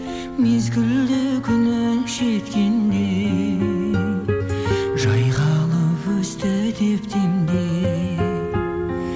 мезгілді күнің жеткенде жайқалып өсті деп демде